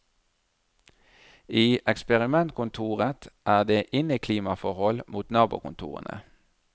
I eksperimentkontoret er det inneklimaforhold mot nabokontorene.